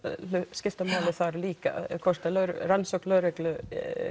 skiptir máli þar líka hvort að rannsókn lögreglu